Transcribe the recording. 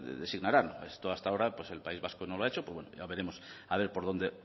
designarán esto hasta ahora el país vasco no lo ha hecho ya veremos a ver por dónde